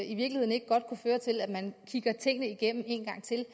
i virkeligheden ikke godt kunne føre til at man kigger tingene igennem en gang til